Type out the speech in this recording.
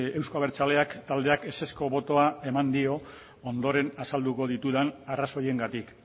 euzko abertzaleak taldeak ezezko botoa eman dio ondoren azalduko ditudan arrazoiengatik